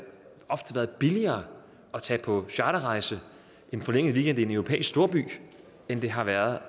billigere at tage på charterrejse en forlænget weekend i en europæisk storby end det har været